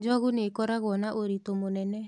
njogu nĩkoragũo na ũritu mũnene